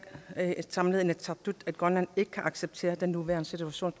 samlet inatsisartut at grønland ikke kan acceptere den nuværende situation